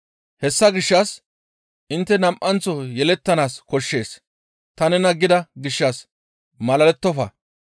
Hessa gishshas, ‹Intte nam7anththo yelettanaas koshshees› ta nena gida gishshas malalettofa.